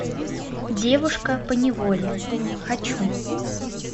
девушка поневоле хочу